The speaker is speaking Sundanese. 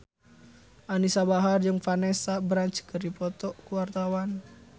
Anisa Bahar jeung Vanessa Branch keur dipoto ku wartawan